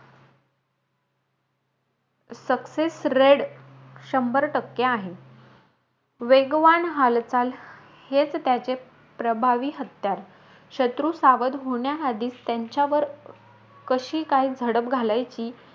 Success rate शंभर टक्के आहे. वेगवान हालचाल, हेचं त्याचे प्रभावी हत्यार. शत्रू सावध होण्याआधीच, त्यांच्यावर कशी काय झडप घालायची,